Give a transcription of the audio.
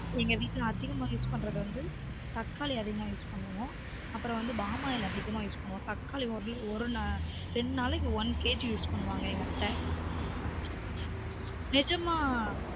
எங்க வீட்ல அதீகமா use பன்றது வந்து தக்காளி அதிகமா use பண்ணுவோம் அப்புரம் வந்து பாமாயில் அதிகமா use பண்ணுவோம் தக்காளி ஒரு நாளை ரெண்டு நாளைக்கு onekguse பண்ணுவாங்க நிஜமா